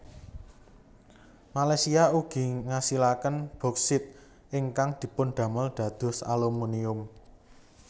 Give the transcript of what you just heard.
Malaysia ugi ngasilaken Bauksit ingkang dipundamel dados Alumunium